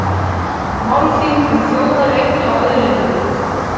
Málþing um þjóðareign á auðlindum